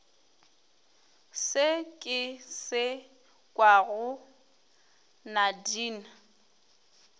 se ke se kwago nadine